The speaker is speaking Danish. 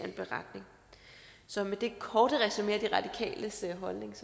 en beretning så med det korte resumé af de radikales holdning